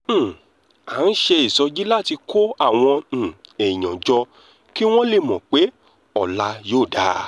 um à ń ṣe ìsọjí láti kó àwọn um èèyàn jọ kí wọ́n lè mọ̀ pé ọ̀la yóò dáa